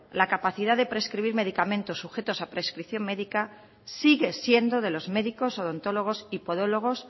la capacidad de prescribir medicamentos sujetos a prescripción médica sigue siendo de los médicos odontólogos y podólogos